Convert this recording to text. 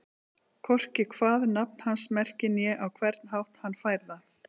Hvorki hvað nafn hans merkir né á hvern hátt hann fær það.